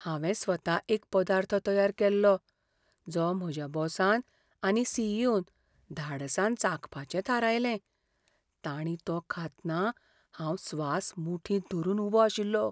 हांवें स्वता एक पदार्थ तयार केल्लो, जो म्हज्या बॉसान आनी सी. ई. ओ. न धाडसान चाखपाचें थारायलें. तांणी तो खातना हांव स्वास मुठींत धरून उबो आशिल्लो.